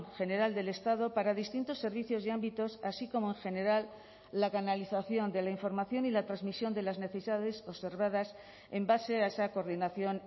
general del estado para distintos servicios y ámbitos así como en general la canalización de la información y la transmisión de las necesidades observadas en base a esa coordinación